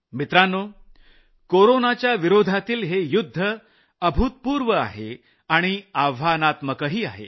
मित्रांनो कोरोनाच्या विरोधातील हे युद्ध अभूतपूर्व आहे आणि आव्हानात्मकही आहे